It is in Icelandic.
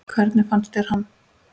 Hvernig fannst þér hann?